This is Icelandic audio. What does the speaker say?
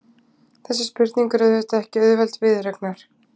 Þessi spurning er auðvitað ekki auðveld viðureignar.